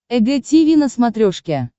эг тиви на смотрешке